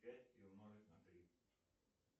пять и умножить на три